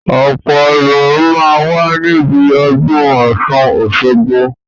Ọ̀pọ̀ èrò máa ń wà níbi ọdún Ọ̀sun Osogbo